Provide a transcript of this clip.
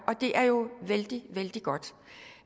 og det er jo vældig godt